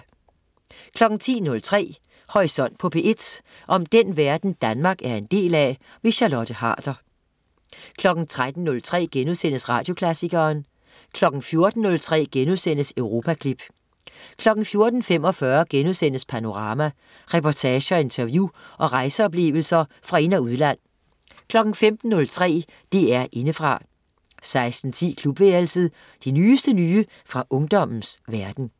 10.03 Horisont på P1. om den verden Danmark er en del af. Charlotte Harder 13.03 Radioklassikeren* 14.03 Europaklip* 14.45 Panorama. Reportager, interview og rejseoplevelser fra ind- og udland 15.03 DR Indefra 16.10 Klubværelset. Det nyeste nye fra ungdommens verden